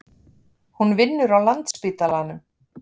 Hún vinnur á Landspítalanum.